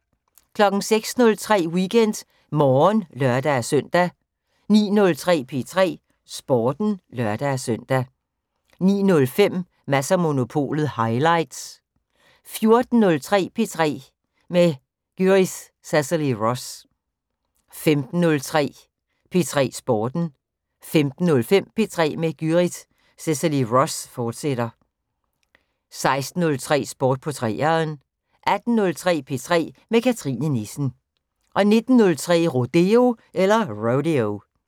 06:03: WeekendMorgen (lør-søn) 09:03: P3 Sporten (lør-søn) 09:05: Mads & Monopolet highlights 14:03: P3 med Gyrith Cecilie Ross 15:03: P3 Sporten 15:05: P3 med Gyrith Cecilie Ross, fortsat 16:03: Sport på 3'eren 18:03: P3 med Cathrine Nissen 19:03: Rodeo